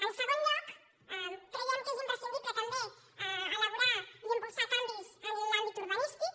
en segon lloc creiem que és imprescindible també elaborar i impulsar canvis en l’àmbit urbanístic